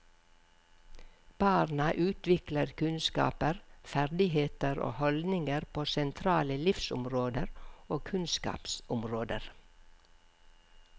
Barna utvikler kunnskaper, ferdigheter og holdninger på sentrale livsområder og kunnskapsområder.